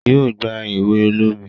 yíò gbá ewe olómi